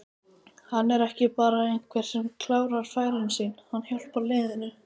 Hann er ekki bara einhver sem klárar færin sín, hann hjálpar liðinu.